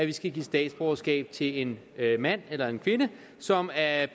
vi skal give statsborgerskab til en mand eller kvinde som af